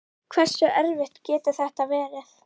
Hversu erfitt getur þetta verið?